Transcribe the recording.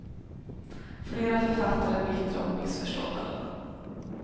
Flera författare är bittra och missförstådda.